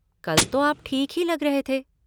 कल तो आप ठीक ही लग रहे थे।